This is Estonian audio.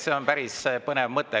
See on päris põnev mõte.